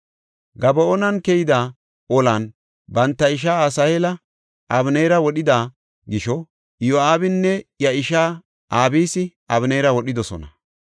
Gaba7oonan keyida olan banta ishaa Asaheela Abeneeri wodhida gisho, Iyo7aabinne iya isha Abisi Abeneera wodhidosona.